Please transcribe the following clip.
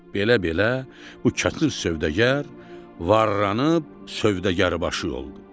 Belə-belə bu çətin sövdəgər varranıb sövdəgər başı oldu.